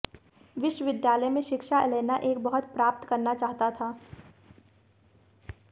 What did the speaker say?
विश्वविद्यालय में शिक्षा ऐलेना एक बहुत प्राप्त करना चाहता था